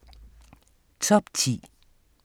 Top 10